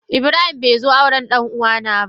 Ibrahim be zo auren ɗan uwa na ba.